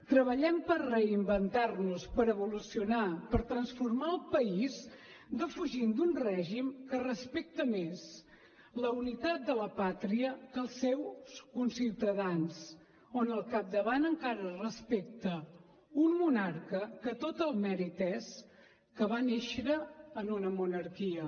treballem per reinventar nos per evolucionar per transformar el país defugint d’un règim que respecta més la unitat de la pàtria que els seus conciutadans on al capdavant encara respecta un monarca que tot el mèrit és que va néixer en una monarquia